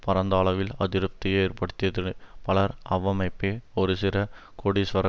பரந்த அளவில் அதிருப்தியை ஏற்படுத்தியது பலர் அவ்வமைப்பை ஒரு சிறு கோடிஸ்வர